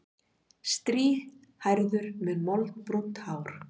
Strýhærður með moldbrúnt hár.